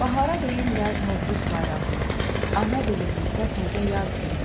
Bahara deyirlər Novruz bayramı, ana dilimizdə təzə yaz günü.